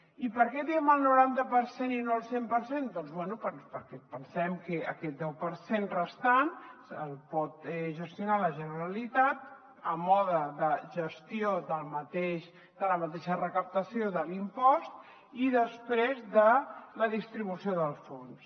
i per què diem el noranta per cent i no el cent per cent doncs bé perquè pensem que aquest deu per cent restant el pot gestionar la generalitat a mode de gestió de la mateixa recaptació de l’impost i després de la distribució del fons